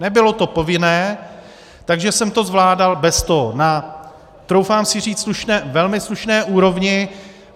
Nebylo to povinné, takže jsem to zvládal bez toho na troufám si říct velmi slušné úrovni.